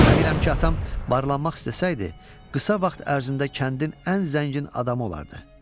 Əminəm ki, atam varlanmaq istəsəydi, qısa vaxt ərzində kəndin ən zəngin adamı olardı.